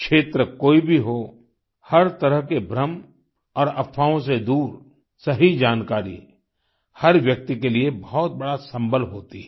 क्षेत्र कोई भी हो हर तरह के भ्रम और अफवाहों से दूर सही जानकारी हर व्यक्ति के लिए बहुत बड़ा सम्बल होती है